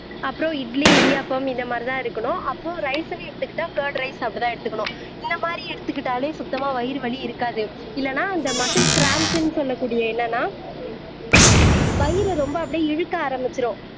அப்புறம் இட்லி இடியாப்பம் இந்த மாதிரிதான் இருக்கணும் அப்போ ரைஸ்ன்னு எடுத்துக்கிட்டா கர்ட் ரைஸ் அப்படித்தான் எடுத்துக்கணும் இந்த மாதிரி எடுத்துக்கிட்டாலே சுத்தமா வயிறு வலி இருக்காது இல்லைன்னா அந்த மசுல் கிராம்ஸ்ன்னு சொல்லக்கூடிய என்னன்னா வயிறு ரொம்ப அப்படியே இழுக்க ஆரம்பிச்சிடும்